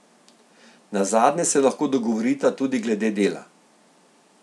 Nazadnje se lahko dogovorita tudi glede dela.